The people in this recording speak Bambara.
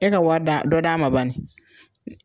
E ka wari d'a, dɔ d'a ma bani.